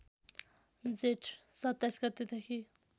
जेठ २७ गतेदेखि